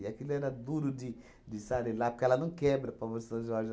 aquilo era duro de de esfarelar, porque ela não quebra a palma de São Jorge.